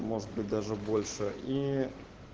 может быть даже больше и